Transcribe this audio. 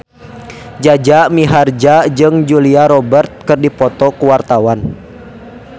Jaja Mihardja jeung Julia Robert keur dipoto ku wartawan